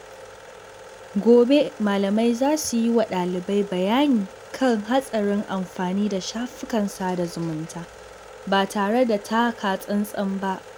Gobe, malamai za su yi wa dalibai bayani kan hatsarin amfani da shafukan sada zumunta ba tare da taka tsantsan ba.